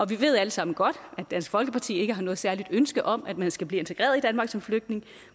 vi ved alle sammen godt at dansk folkeparti ikke har noget særligt ønske om at man skal blive integreret i danmark som flytning